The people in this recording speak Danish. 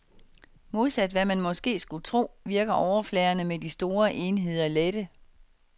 Modsat hvad man måske skulle tro, virker overfladerne med de store enheder lette.